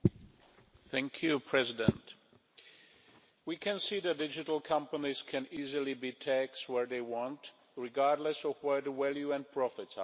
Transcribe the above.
Mr President, we can see that digital companies can easily be taxed where they want, regardless of where the value and profits are created.